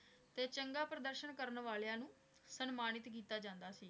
ਤੇ ਚੰਗਾ ਪ੍ਰਦਰਸ਼ਨ ਕਰਨ ਵਾਲੀਆਂ ਨੂ ਸਮਾਨਿਤ ਕੀਤਾ ਜਾਂਦਾ ਸੀ